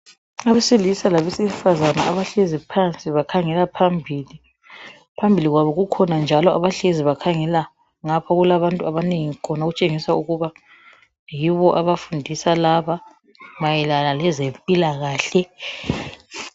Abesilisa labesifazane abahlezi phansi bakhangela phambili. Phambili kwabo kukhona njalo abahlezi bakhangela ngapha okulabantu abanengi khona. Okutshengisa ukuba yibo abafundisa laba mayelana leze mpilakahle.